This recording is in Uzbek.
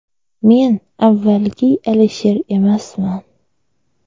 Men avvalgi Alisher emasman.